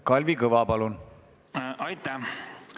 Kalvi Kõva, palun!